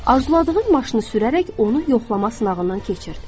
Arzuladığın maşını sürərək onu yoxlama sınağından keçir.